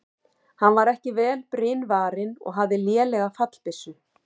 Hann var ekki vel brynvarinn og hafði lélega fallbyssu.